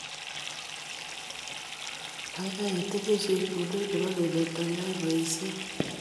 Keikei itinye chepkulet nebo kemeto keyai boisiet